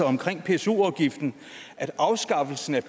omkring pso afgiften at afskaffelse af